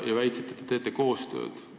Väitsite, et te teete koostööd.